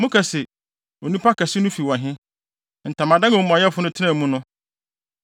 Moka se, ‘Onipa kɛse no fi wɔ he, ntamadan a omumɔyɛfo no tenaa mu no?’